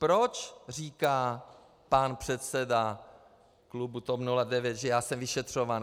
Proč říká pan předseda klubu TOP 09, že já jsem vyšetřován.